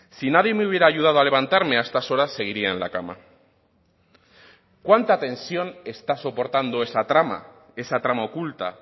si nadie me hubiera ayudado a levantarme a estas horas seguiría en la cama cuánta tensión está soportando esa trama esa trama oculta